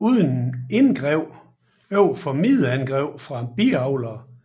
Uden indgreb overfor mideangreb fra biavleren